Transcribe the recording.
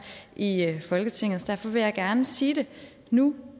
i folketinget derfor vil jeg gerne sige det nu